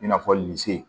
I n'a fɔ lise